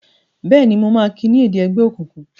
Béèni má kí ní èdè ègbé òkùnkùn?